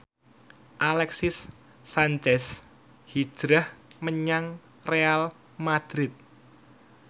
Alexis Sanchez hijrah menyang Real madrid